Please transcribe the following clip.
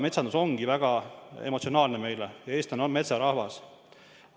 Metsandus ongi meile midagi väga emotsionaalset, eestlased on metsarahvas.